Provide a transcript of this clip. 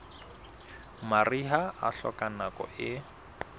mariha e hloka nako e